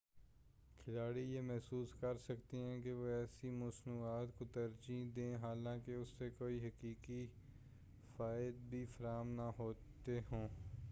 کھلاڑی یہ محسوس کرسکتے ہیں کہ وہ ایسی مصنوعات کو ترجیح دیں حالانکہ اس سے کوئی حقیقی فوائد بھی فراہم نہ ہوتے ہوں